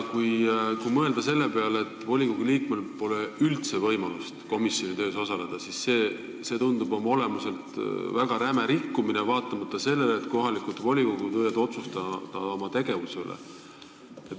Kui mõelda selle peale, et volikogu liikmel pole üldse võimalust komisjoni töös osaleda, siis see tundub oma olemuselt väga rämeda rikkumisena, vaatamata sellele, et kohalikud volikogud võivad ise otsustada oma tegevuse üle.